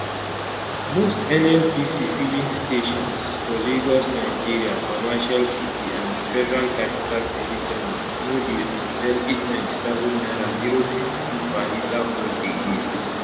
most nnpc filing stations for lagos nigeria commercial city and di federal capital territory no dey um sell 897 naira 052 per litre fuel again